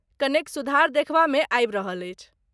कनेक सुधार देखबा में आबि रहल अछि।